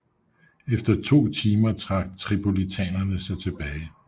Efter to timer trak tripolitanerne sig tilbage